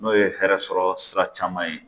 N'o ye hɛrɛ sɔrɔ sira caman ye